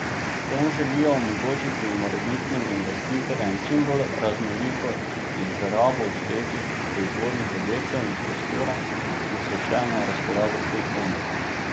S tem želijo omogočiti morebitnim investitorjem čim bolj raznoliko izrabo obstoječih proizvodnih objektov in prostora, ki so še na razpolago v tej coni.